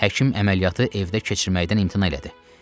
Həkim əməliyyatı evdə keçirməkdən imtina elədi.